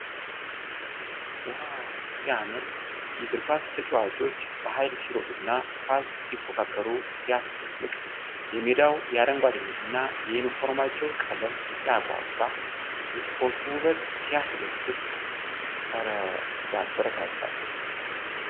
ዋው ሲያምር ! የእግር ኳስ ተጫዋቾች በኃይል ሲሮጡና ኳስ ሲፎካከሩ ሲያስደንቅ ! የሜዳው አረንጓዴነትና የዩኒፎርማቸው ቀለም ሲያጓጓ ! የስፖርቱ ውበት ሲያስደስት! እረ ሲያበረታታ!